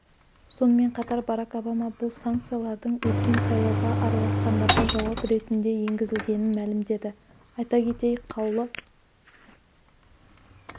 сонымен қатар барак обама бұл санкциялардың өткен сайлауға араласқандарға жауап ретінде енгізілгенін мәлімдеді айта кетейік қаулы